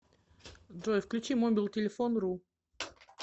джой включи мобилтелефон ру